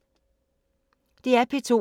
DR P2